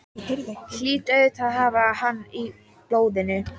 Hlýt auðvitað að hafa hann í blóðinu.